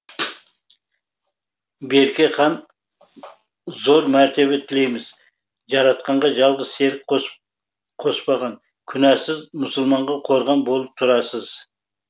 берке хан зор мәртебе тілейміз жаратқанға жалғыз серік қоспаған күнәсіз мұсылманға қорған болып тұрасыз